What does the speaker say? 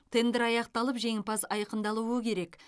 тендер аяқталып жеңімпаз айқындалуы керек